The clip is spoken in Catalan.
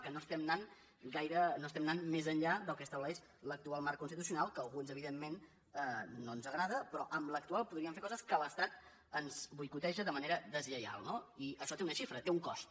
que no estem anant més enllà del que estableix l’actual marc constitucional que a alguns evidentment no ens agrada però amb l’actual podríem fer coses que l’estat ens boicoteja de manera deslleial no i això té una xifra té un cost